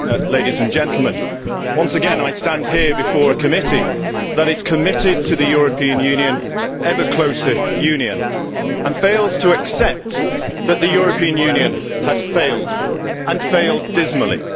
Mr President, once again I stand here before a committee that is committed to the European Union, to ever closer union, and fails to accept that the European Union has failed and failed dismally.